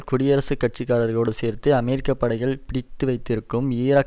குடியரசுக் கட்சிக்காரர்களோடு சேர்ந்து அமெரிக்க படைகள் பிடித்துவைத்திருக்கும் ஈராக்